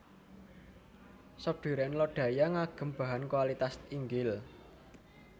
Sop Duren Lodaya ngagem bahan kualitas inggil